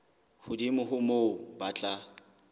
hodimo ho moo ba tla